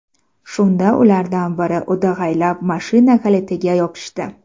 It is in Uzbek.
Shunda ulardan biri o‘dag‘aylab mashina kalitiga yopishdi.